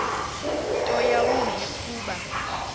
nto yawumbi kuba